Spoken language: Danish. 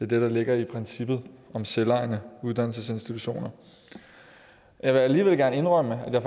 det der ligger i princippet om selvejende uddannelsesinstitutioner jeg vil alligevel gerne indrømme at jeg